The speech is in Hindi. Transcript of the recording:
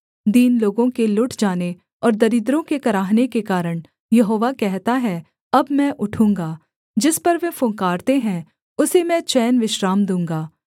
दीन लोगों के लुट जाने और दरिद्रों के कराहने के कारण यहोवा कहता है अब मैं उठूँगा जिस पर वे फुँकारते हैं उसे मैं चैन विश्राम दूँगा